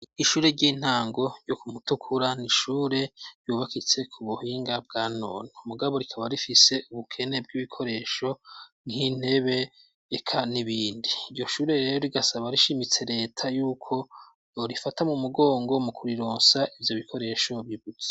ishure ry'intango yo ku mutukura n'ishure ryubakitse ku buhinga bwa none mugabo rikaba rifise ubukene bw'ibikoresho nk'intebe eka n'ibindi. Iryo shure rero rigasaba rishimitse Leta y'uko yorifata mu mugongo mu kurironsa ivyo bikoresho bibuze.